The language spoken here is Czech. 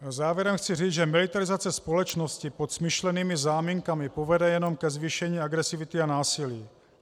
Závěrem chci říct, že militarizace společnosti pod smyšlenými záminkami povede jenom ke zvýšení agresivity a násilí.